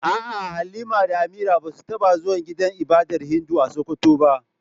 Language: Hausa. A'a Halima da Amira basu taba zuwa gidan ibadar Hindu a Sokoto ba.